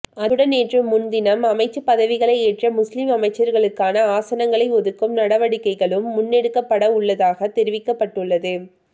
அத்துடன் நேற்று முன்தினம் அமைச்சுப் பதவிகளை ஏற்ற முஸ்லிம் அமைச்சர்களுக்கான ஆசனங்களை ஒதுக்கும் நடவடிக்கைகளும் முன்னெடுக்கப்படவுள்ளதாக தெரிவிக்கப்பட்டுள்ளது